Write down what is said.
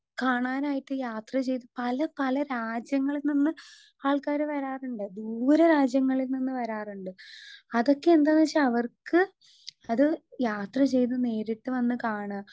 speaker 2 കാണാനായിട്ട് യാത്ര ചെയ്ത പലപല രാജ്യങ്ങളിൽ നിന്ന് ആൾക്കാര് വരാറിണ്ട് ദൂരെ രാജ്യങ്ങളിൽ നിന്ന് വരാറിണ്ട് അതൊക്കെ എന്താന്നെച്ചാ അവർക്ക് അത് യാത്ര ചെയ്ത് നേരിട്ട് വന്ന് കാണാ